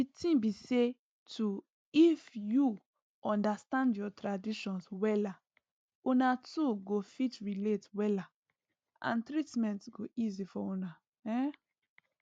di ting be say to if u understand ur traditions wella una two go fit relate wella and treatments go easy for una um